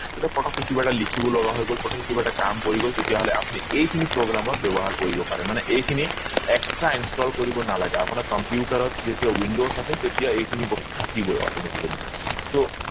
পতকে কিবা এটা লিখিব লগা হৈ গল পতকে কিবা এটা কাম পৰি গল তেতিয়া হলে আপুনি এই খিনি program ত ব্যৱহাৰ কৰিব পাৰে মানে এই খিনি extra installed কৰিব নালাগে আপোনাক computer ত যেতিয়া windows আছে তেতিয়া এইখিনি বস্তু থাকিব auto, atically